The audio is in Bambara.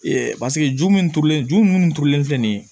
paseke ju min turulen ju minnu turulen tɛ nin ye